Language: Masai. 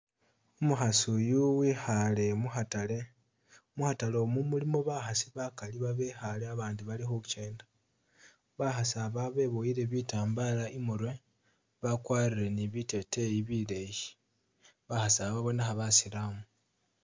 Umukhasi yuu wikhale mu'khatale mu'khatale mu mulimo bakhasi bakaali babekhale abandi bali khukyenda bakhasi aba beboyile bitambala imurwe bakwarile ni'biteteyi bileeyi bakhasiba babonekha basilamu